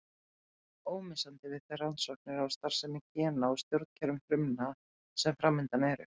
Þeir verða ómissandi við þær rannsóknir á starfsemi gena og stjórnkerfum frumna sem framundan eru.